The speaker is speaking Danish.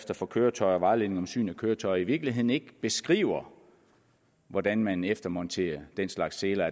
for køretøjer og vejledning om syn af køretøjer i virkeligheden ikke beskriver hvordan man eftermonterer den slags seler